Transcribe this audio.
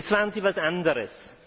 Jetzt waren Sie etwas anderes.